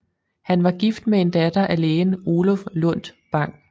Han var gift med en datter af lægen Oluf Lundt Bang